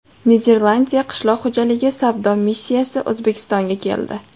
Niderlandiya qishloq xo‘jaligi savdo missiyasi O‘zbekistonga keldi.